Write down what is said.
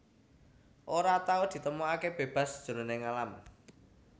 Ora tau ditemokaké bébas jroning alam